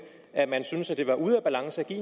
at man synes at det var ude af balance at give